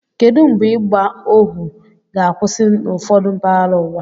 Kedụ mgbe ịgba ohu ga-akwụsị n'ụfọdụ mpaghara ụwa?